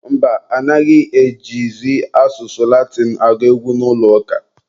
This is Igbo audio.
mba, anaghị ejizi asụsụ Latinụ agụ egwu n'ụlọ ụka.